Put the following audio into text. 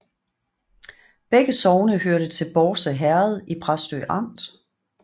Begge sogne hørte til Bårse Herred i Præstø Amt